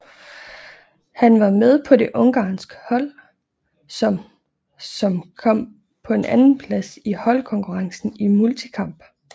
Han var med på det ungarske hold som som kom på en andenplads i holdkonkurrencen i multikamp